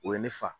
O ye ne fa